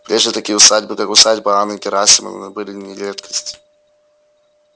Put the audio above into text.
прежде такие усадьбы как усадьба анны герасимовны были не редкость